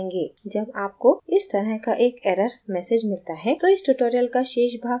जब आपको इस तरह का एक error message मिलता है तो इस tutorial का शेष भाग सुनें